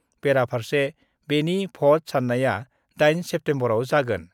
बेरा फारसे बेनि भट सान्नाया 8 सेप्तेम्बराव जागोन।